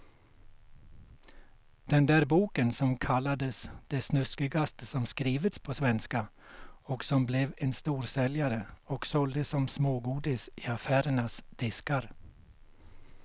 Den där boken som kallades det snuskigaste som skrivits på svenska och som blev en storsäljare och såldes som smågodis i affärernas diskar.